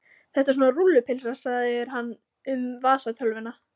Þetta er svona rúllupylsa segir hann um vasatölvuna.